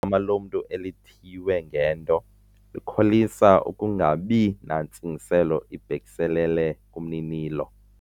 Igama lomntu elithiywe ngento likholisa ukungabi nantsingiselo ibhekiselele kumninilo.